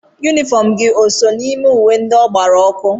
Yunifọm gị o so n'ime uwe ndị ọ gbara ọkụ.